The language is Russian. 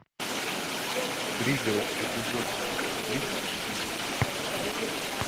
пригород эпизод тридцать четыре